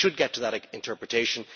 We should get to that interpretation